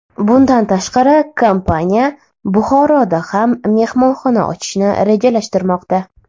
Bundan tashqari, kompaniya Buxoroda ham mehmonxona ochishni rejalashtirmoqda.